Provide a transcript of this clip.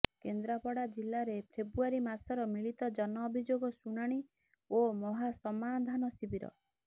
କେନ୍ଦ୍ରାପଡ଼ା ଜିଲାରେ ଫେବୃଆରୀ ମାସର ମିଳିତ ଜନ ଅଭିଯୋଗ ଶୁଣାଣୀ ଓ ମହା ସମାଧାନ ଶିବିର